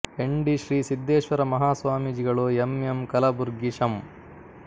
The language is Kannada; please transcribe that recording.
ಹೆಂಡಿ ಶ್ರೀ ಸಿದ್ದೇಶ್ವರ ಮಹಾ ಸ್ವಾಮಿಜಿಗಳು ಎಮ್ ಎಮ್ ಕಲಬುರ್ಗಿ ಶಂ